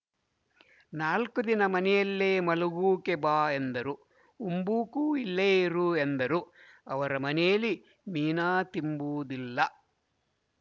ನಾಲ್ಕು ದಿನ ಮನೆಯಲ್ಲೇ ಮಲಗೂಕೆ ಬಾ ಎಂದರು ಉಂಬೂಕೂ ಇಲ್ಲೇ ಇರು ಎಂದರು ಅವರ ಮನೇಲಿ ಮೀನಾ ತಿಂಬೂದಿಲ್ಲ